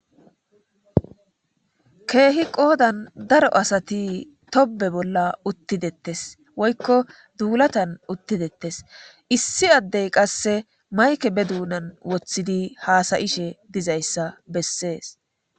keehi qoodan daro asati tobe bolla uttidettes woykko duulatan uttidettes issi addey qasse mayke be duunan woththidi haasayishe dizayssa bessees.